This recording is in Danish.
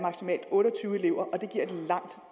otte og tyve elever og det giver et langt